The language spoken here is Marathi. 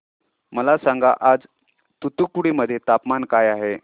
मला सांगा आज तूतुकुडी मध्ये तापमान काय आहे